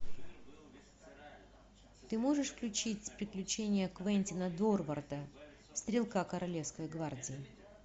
ты можешь включить приключения квентина дорворда стрелка королевской гвардии